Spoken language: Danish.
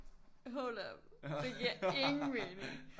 Hold up det giver ingen mening